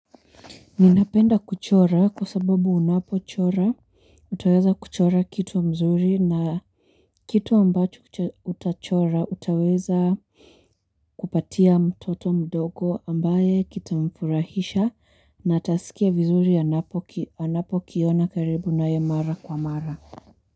Ninapenda kuchora kwa sababu unapochora utaweza kuchora kitu mzuri na kitu ambacho ucha utachora utaweza kupatia mtoto mdogo ambaye kitamfurahisha na atasikia vizuri anapo ki kiona karibu naye mara kwa mara.